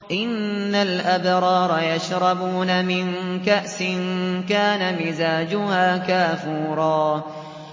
إِنَّ الْأَبْرَارَ يَشْرَبُونَ مِن كَأْسٍ كَانَ مِزَاجُهَا كَافُورًا